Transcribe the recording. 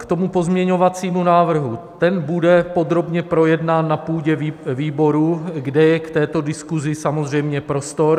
K tomu pozměňovacímu návrhu - ten bude podrobně projednán na půdě výborů, kde je k této diskusi samozřejmě prostor.